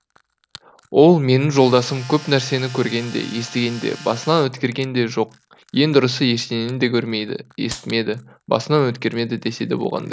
ол менің жолдасым көп нәрсені көрген де естіген де басынан өткерген де жоқ ең дұрысы ештеңені де көрмеді естімеді басынан өткермеді десе де болғандай